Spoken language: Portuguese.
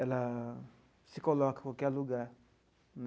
Ela se coloca em qualquer lugar.